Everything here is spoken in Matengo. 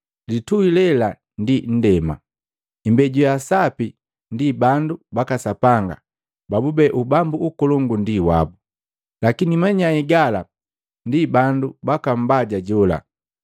Litui lela ndi nndema. Imbeju ya sapi ndi bandu baka Sapanga babube ubambu ukolongu ndi wabu. Lakini manyai gala ndi bandu baka Mbaja jola.